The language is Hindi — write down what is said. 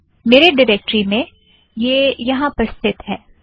मेरे ड़िरेक्टरी में यह यहाँ पर स्थित है